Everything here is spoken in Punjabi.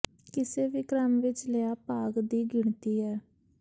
ਕਿਸੇ ਵੀ ਕ੍ਰਮ ਵਿੱਚ ਲਿਆ ਭਾਗ ਦੀ ਗਿਣਤੀ ਹੈ